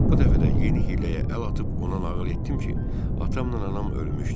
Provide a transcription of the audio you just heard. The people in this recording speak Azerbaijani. Bu dəfə də yeni hiyləyə əl atıb ona nağıl etdim ki, atamla anam ölmüşdü.